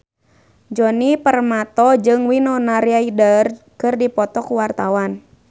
Djoni Permato jeung Winona Ryder keur dipoto ku wartawan